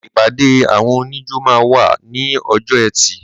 ìpàdé àwọn oníjó máa wà ní ọjọ́ ẹtì.